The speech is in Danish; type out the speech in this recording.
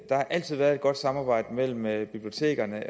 der har altid været et godt samarbejde mellem mellem bibliotekerne